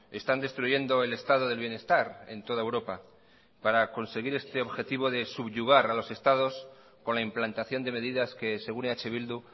están destruyendo el estado del bienestar en toda europa para conseguir este objetivo de subyugar a los estados con la implantación de medidas que según eh bildu